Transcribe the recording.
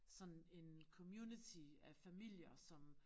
Sådan en community af familier som